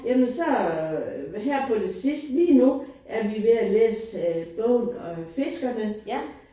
Jamen så her på det sidste lige nu er vi ved at læse bogen fiskerne